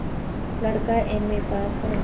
लड़का MA pass हैं